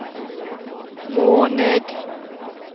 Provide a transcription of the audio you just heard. måned